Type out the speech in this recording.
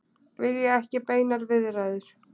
Vilja ekki beinar viðræður